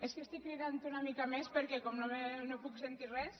és que estic cridant una mica més perquè com no puc sentir res